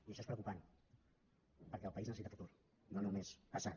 i això és preocupant perquè el país necessita futur no només passat